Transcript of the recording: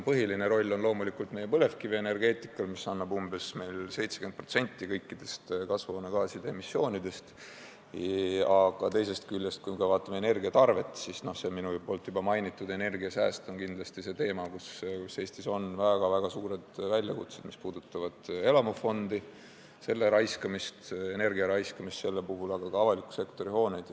Põhiline roll on loomulikult meie põlevkivienergeetikal, mis annab umbes 70% kõikidest kasvuhoonegaaside emissioonidest, aga teisest küljest, kui me vaatame energiatarvet, siis juba mainitud energiasääst on kindlasti see teema, kus Eestis on väga-väga suured väljakutsed, mis puudutavad elamufondi, energia raiskamist selle puhul, aga ka avaliku sektori hooneid.